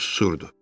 O susurdu.